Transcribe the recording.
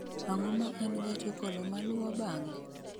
Ang�o ma en gach okolomaluwo bang�e?